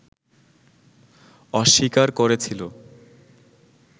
অস্বীকার করেছিল